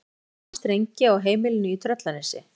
Þeir stilltu saman strengi á heimilinu í Tröllanesi.